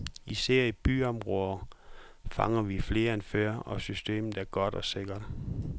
Især i byområderne fanger vi flere end før, og systemet er godt og sikkert.